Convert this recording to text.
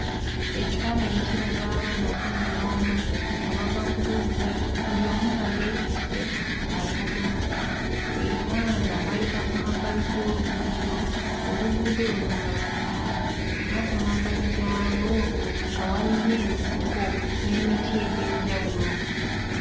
Ekifaananyi kiraga abaana kkumi n'omu nga bava ku luzzi buli omu nga yeetisse akadomola era nga bayita ku mabbali g'oluguudo oluguudo luno nga lwa ttaka era ku mabbali gaalwo nga waliyo ensiko n'emiti egy'enjawulo.